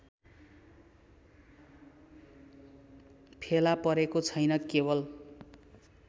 फेला परेको छैन केवल